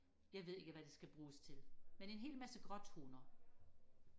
jeg ved ikke hvad det skal bruges til men en hel masse gråtoner